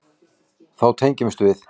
Þá tengdumst við.